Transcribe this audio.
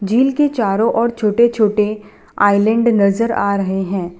झील के चारों ओर छोटे छोटे आइलैंड नजर आ रहे हैं।